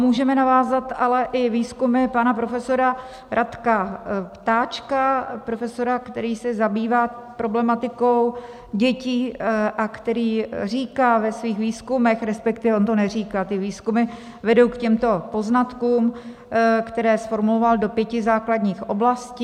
Můžeme navázat ale i výzkumy pana profesora Radka Ptáčka, profesora, který se zabývá problematikou dětí a který říká ve svých výzkumech, respektive on to neříká, ty výzkumy vedou k těmto poznatkům, které zformuloval do pěti základních oblastí.